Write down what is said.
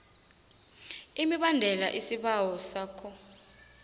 imibandela isibawo sakho